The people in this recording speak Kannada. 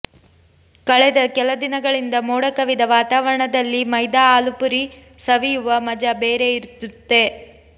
ಕಳೆದ ಕೆಲ ದಿನಗಳಿಂದ ಮೋಡ ಕವಿದ ವಾತಾವರಣದಲ್ಲಿ ಮೈದಾ ಆಲೂ ಪೂರಿ ಸವಿಯುವ ಮಜಾ ಬೇರೆ ಇರುತ್ತೆ